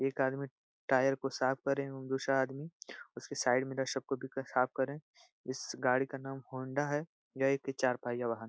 एक आदमी टायर को साफ़ कर रहे हैं और दूसरा आदमी उसके साइड साफ़ कर रहे हैं। इस गाड़ी का नाम होन्डा है। यह एक चार पहिया वाहन है।